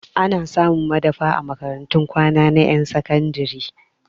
Ana samun madafa a makarantun kwana na ƴan sakandire